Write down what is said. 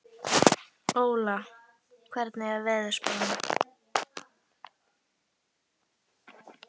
Óla, hvernig er veðurspáin?